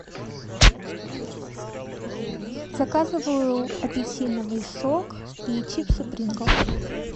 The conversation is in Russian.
заказываю апельсиновый сок и чипсы принглс